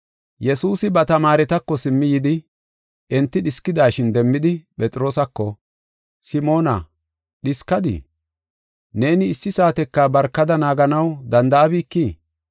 Yesuusi ba tamaaretako simmi yidi, enti dhiskidashin demmidi, Phexroosako, “Simoona, dhiskadii? Neeni issi saateka barkada naaganaw danda7abikii?